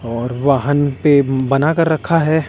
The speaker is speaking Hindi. और वाहन पे बना कर रखा है।